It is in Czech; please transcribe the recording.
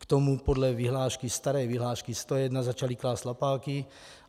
K tomu podle vyhlášky, staré vyhlášky 101, začaly klást lapáky.